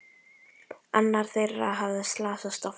Annar þeirra hafði slasast á fæti.